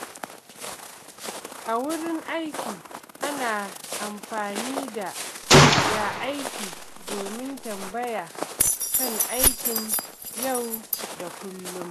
A wurin aiki, ana amfani da “Ya aiki?” domin tambaya kan aikin yau da kullum.